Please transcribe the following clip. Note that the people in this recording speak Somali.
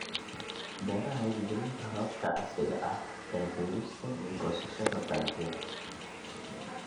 Beeraha Hirgelinta hababka casriga ah ee beerista iyo goosashada dalagyada.